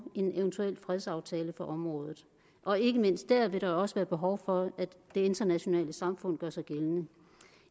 en eventuel fredsaftale på området og ikke mindst dér vil der også være behov for at det internationale samfund gør sig gældende